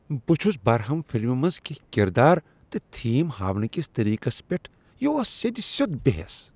بہ چھُس برہم فلمہ منٛز کینہہ کردار تہٕ تھیم ہاونہٕ کس طریقس پیٹھ۔ یہ اوس سیٚد سیوٚد بے حیس۔